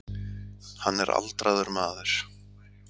Hann er aldraður maður.